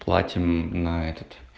платим на этот